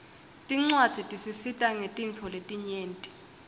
tincuadzi tisisita ngetintfo letinyenti